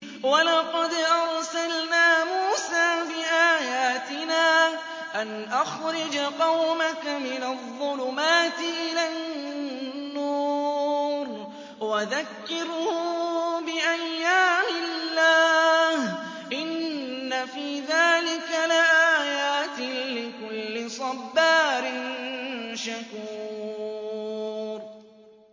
وَلَقَدْ أَرْسَلْنَا مُوسَىٰ بِآيَاتِنَا أَنْ أَخْرِجْ قَوْمَكَ مِنَ الظُّلُمَاتِ إِلَى النُّورِ وَذَكِّرْهُم بِأَيَّامِ اللَّهِ ۚ إِنَّ فِي ذَٰلِكَ لَآيَاتٍ لِّكُلِّ صَبَّارٍ شَكُورٍ